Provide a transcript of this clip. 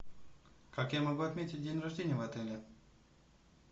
как я могу отметить день рождения в отеле